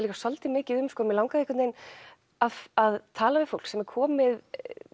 líka svolítið mikið um mig langaði einhvern veginn að að tala við fólk sem er komið